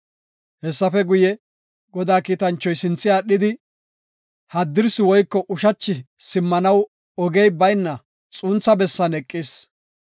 Hessafe guye, Godaa kiitanchoy sintha aadhidi, haddirsi woyko ushachi simmanaw ogey bayna xuntha bessan eqis.